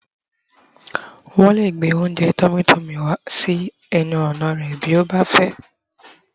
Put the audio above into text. wón le gbe ounjẹ tummy tummy wá sí ẹnu ọnà rẹ bi o ba fẹ